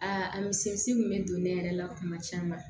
A mise kun bɛ don ne yɛrɛ la kuma caman